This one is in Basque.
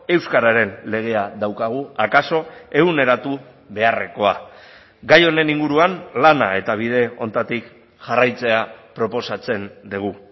euskararen legea daukagu akaso eguneratu beharrekoa gai honen inguruan lana eta bide honetatik jarraitzea proposatzen dugu